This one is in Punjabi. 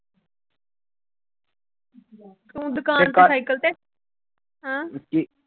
ਉ